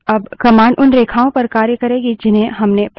अब command उन रेखाओं पर कार्य करेगी जिन्हें हमने प्रविष्ट किया है